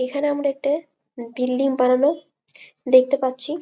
এইখানে আমরা একটা বিল্ডিং বানানো দেখতে পাচ্ছি--